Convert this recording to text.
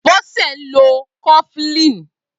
Bose n ló kọ̀flin